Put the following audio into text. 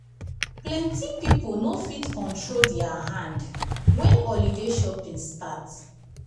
plenty pipo no fit control their hand when holiday shopping start.